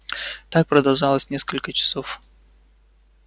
так продолжалось несколько часов